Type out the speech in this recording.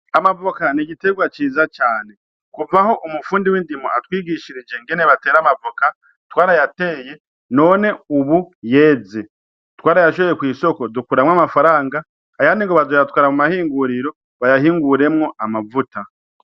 Amavoka ni igiterwa ciza cane. Kuva aho umufundi w'indimo atwigishirije ingene batera amavoka, twarayateye none ubu yeze. Twarayashoye kw'isoko dukuramwo amafaranga, ayandi ngo bazoyatwara muma hinguriro, bayahinguremwo amavuta.